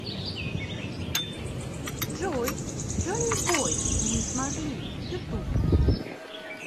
джой джонибой мы смогли ютуб